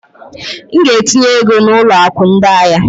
M ga-etinye ego na ụlọ akụ ndị ahịa.